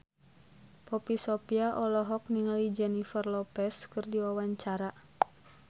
Poppy Sovia olohok ningali Jennifer Lopez keur diwawancara